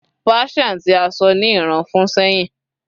Persian ti a sọ ni Iran fun sehin